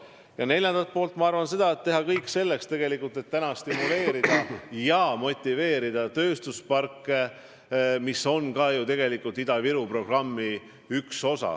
Ja neljandaks ma arvan, et tuleb teha kõik selleks, et stimuleerida ja motiveerida tööstusparkide arendamist, mis on ju ka Ida-Viru programmi üks osa.